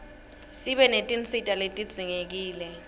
sibe netinsita letidzingekile